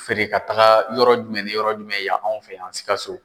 feere ka taga yɔrɔ jumɛn ni yɔrɔ jumɛn yan anw fɛ yan Sikaso.